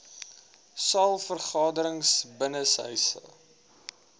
saal vergaderings binnenshuise